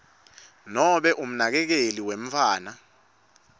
nobe umnakekeli wemntfwana